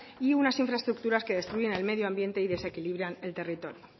y unas infraestructuras que destruyen el medio ambiente y desequilibran el territorio